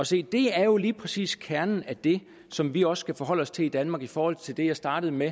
se det er jo lige præcis kernen af det som vi også skal forholde os til i danmark i forhold til det jeg startede med